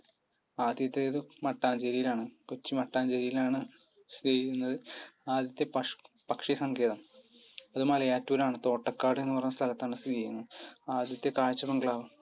ആദ്യത്തേതും മട്ടാഞ്ചേരിയിൽ ആണ്. കൊച്ചി മട്ടാഞ്ചേരിയിൽ ആണ് സ്ഥിതി ചെയ്യുന്നത്. ആദ്യത്തെ പക്ഷ് പക്ഷിസങ്കേതം? അത് മലയാറ്റൂർ ആണ്. തോട്ടയ്ക്കാട് എന്ന പറയുന്ന സ്ഥലത്താണ് സ്ഥിതി ചെയ്യുന്നത് ആദ്യത്തെ കാഴ്ചബംഗ്ലാവ്?